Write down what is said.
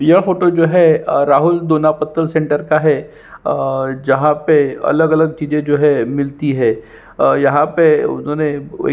यह फोटो जो है अ राहुल दौना पत्तल सेण्टर का है और जहाँ पे अलग-अलग चीजे जो है मिलती है और यहाँ पे उन्होंने --